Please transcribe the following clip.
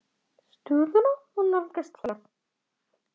Stöðuna má nálgast hér.